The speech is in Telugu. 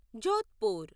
జోధ్పూర్